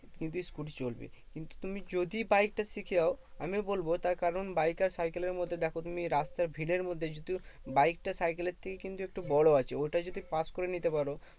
কিন্তু scooter চলবে। কিন্তু তুমি যদি বাইকটা শিখে যাও আমিও বলবো তার কারণ বাইক আর সাইকেলের মধ্যে দেখো তুমি রাস্তায় ভিড়ের মধ্যে যদি তুমি বাইকটা সাইকেলের থেকে কিন্তু একটু বড় আছে ওইটা যদি pass করে নিতে পারো